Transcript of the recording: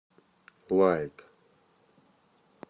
лайк